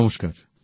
নমস্কার